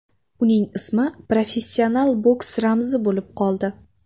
Uning ismi professional boks ramzi bo‘lib qoldi.